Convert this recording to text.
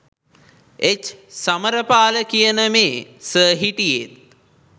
එච්.සමරපාල කියන මේ සර් හිටියෙත්